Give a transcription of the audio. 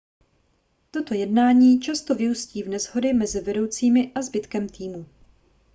toto jednání často vyústí v neshody mezi vedoucími a zbytkem týmu